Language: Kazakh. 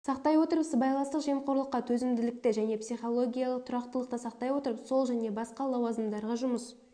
сақтай отырып сыбайластық жемқорлыққа төзімділікті және психалогиялық тұрақтылықты сақтай отырып сол және басқа лауазымдарға жұмыс